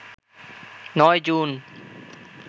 ৯ June